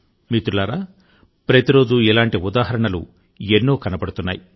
మిత్రులారా ప్రతిరోజూ ఇలాంటి ఉదాహరణలు ఎన్నో కనబడుతున్నాయి